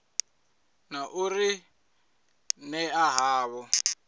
na u ri ṅea havho